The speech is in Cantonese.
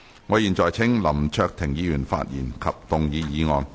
我現在請林卓廷議員發言及動議議案。